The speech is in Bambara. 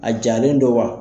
A jalen don wa?